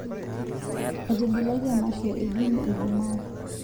etigilaki emashoo e jimmie e jumaa